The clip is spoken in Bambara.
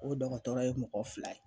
O dɔgɔtɔrɔ ye mɔgɔ fila ye.